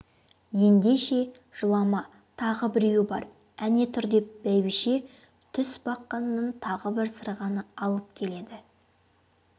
ендеше жылама тағы біреуі бар әне тұр деп бәйбіше тұсбақаннан тағы бір сырғаны алып келеді